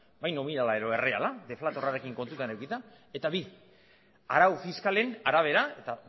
bai nominala edo erreala deflatorrarekin kontuan edukita eta bi arau fiskalen arabera eta